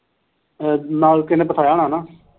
ਅਹ ਨਾਲ ਕਿਸੇ ਨੇ ਪਥਾਇਆ ਹੋਇਆ ਨਾ?